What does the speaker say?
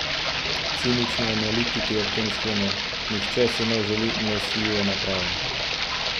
Cinični analitiki ob tem sklenejo: "Nihče si ne želi nosljive naprave.